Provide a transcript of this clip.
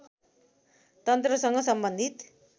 तन्त्रसँग सम्बन्धित